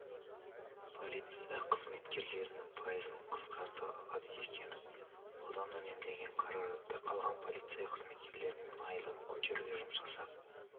полиция қызметкерлерінің пайызын қысқарта алады екенбіз одан үнемделген қаражатты қалған полиция қызметкерлерінің айлығын көтеруге жұмсасақ